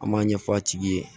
An b'a ɲɛf'a tigi ye